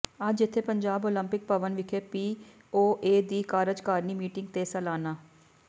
ਅੱਜ ਇੱਥੇ ਪੰਜਾਬ ਓਲੰਪਿਕ ਭਵਨ ਵਿਖੇ ਪੀ ਓ ਏ ਦੀ ਕਾਰਜਕਾਰਨੀ ਮੀਟਿੰਗ ਤੇ ਸਾਲਾਨਾ